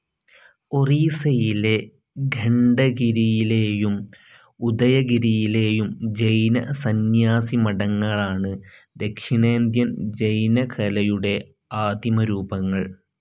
ഒറീസയിലെ ഖണ്ഡഗിരിയിലെയും ഉദയഗിരിയിലെയും ജൈന സന്ന്യാസിമഠങ്ങളാണ് ദക്ഷിണേന്ത്യൻ ജൈനകലയുടെ ആദിമരൂപങ്ങൾ.